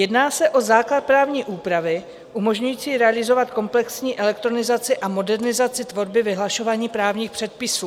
Jedná se o základ právní úpravy umožňující realizovat komplexní elektronizaci a modernizaci tvorby vyhlašování právních předpisů.